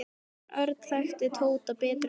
En Örn þekkti Tóta betur en hann sjálfur.